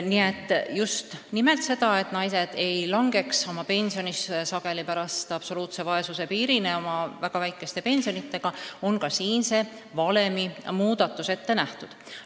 Nii et ka selleks, et naised ei langeks oma pensioniga absoluutse vaesuse piirini, on valemi muudatus ette nähtud.